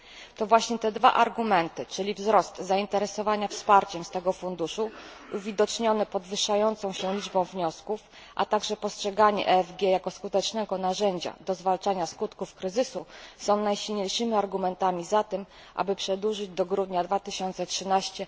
To właśnie te dwa argumenty, czyli wzrost zainteresowania wsparciem z tego funduszu uwidoczniony podwyższającą się liczbą wniosków, a także postrzeganie EFG jako skutecznego narzędzia do zwalczania skutków kryzysu, są najsilniejszymi argumentami za tym, aby przedłużyć do grudnia 2013